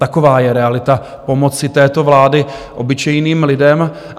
Taková je realita pomoci této vlády obyčejným lidem.